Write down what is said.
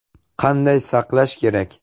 Qanday saqlash kerak?